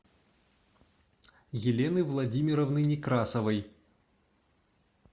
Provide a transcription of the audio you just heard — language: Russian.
елены владимировны некрасовой